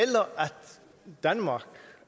danmark